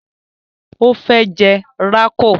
O fẹ́ jẹ rákò